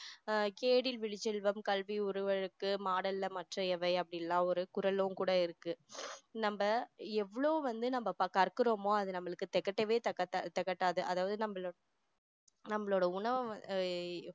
ஆஹ் கேடில் விழுச்செல்வம் கல்வி ஒருவருக்கு மாடல்ல மற்றையவை அப்படியெல்லா ஒரு குறளும் கூட இருக்கு நம்ம எவ்வளோ வந்து நம்ம கற்கிறோமோ அது நம்மளுக்கு திகட்டவே திகட்டாது அதாவது நம்மளோ~ நம்மளோட உணவு